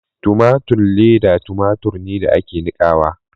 Tomatun leda tomatur ne da ake nikawa.